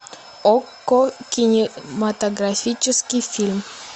окко кинематографический фильм